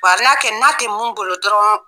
kɛ n'a tɛ mun bolo dɔrɔn